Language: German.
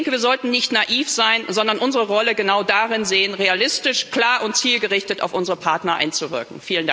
Ich denke, wir sollten nicht naiv sein, sondern unsere Rolle genau darin sehen, realistisch, klar und zielgerichtet auf unsere Partner einzuwirken.